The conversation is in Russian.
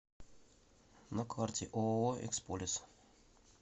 на карте ооо эксполес